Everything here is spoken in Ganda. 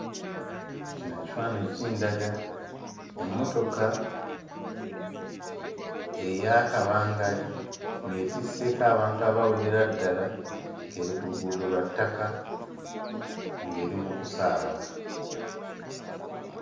Kino ekifaananyi kindaga emmotoka eya kabangali ng'etisseeko abantu abawerera ddala ng'eri ku luguudo lwa ttaka, ng'eri mu kusaabala.